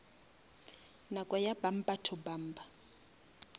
nako ya bumper to bumper